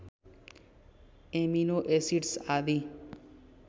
amino acids आदि